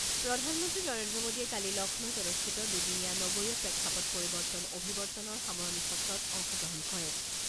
প্ৰধানমন্ত্ৰী নৰেন্দ্ৰ মোডীয়ে কালি লক্ষ্ণৌত অনুষ্ঠিত দুদিনীয়া নগৰীয়া প্ৰেক্ষাপট পৰিৱৰ্তন অভিৱৰ্তনৰ সামৰণী সত্ৰত অংশগ্ৰহণ কৰে।